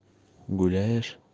гуляешь